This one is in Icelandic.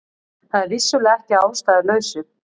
Það er vissulega ekki að ástæðulausu